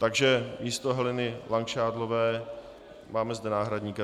Takže místo Heleny Langšádlové zde máme náhradníka.